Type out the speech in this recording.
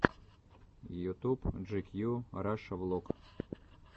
ютуб джикью раша влог